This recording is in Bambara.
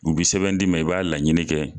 U bi sɛbɛn d'i ma i b'a laɲini kɛ